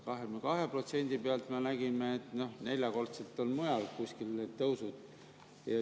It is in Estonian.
22% me nägime, neljakordsed on kuskil mujal need tõusud.